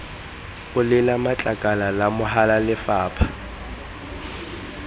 olela matlakala la mahala lefapha